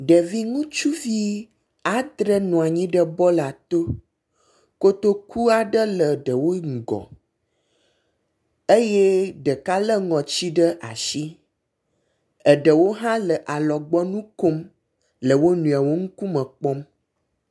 Ŋevi ɖutsuvi andre nɔnyi ɖe bɔla to. Kotoku aɖe le ɖewo ŋgɔ eye ɖeka lé ŋɔtsi ɖe ashi. Eɖewo hã le alɔgbɔnu kom le wo nɔewo ŋkume kpɔm.